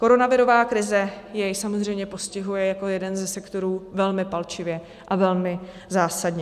Koronavirová krize jej samozřejmě postihuje jako jeden ze sektorů velmi palčivě a velmi zásadně.